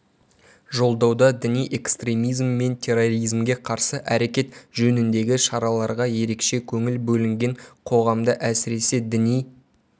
жолдауда діни экстремизм мен терроризмге қарсы әрекет жөніндегі шараларға ерекше көңіл бөлінген қоғамда әсіресе діни